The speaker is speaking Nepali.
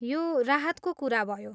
यो राहतको कुरा भयो।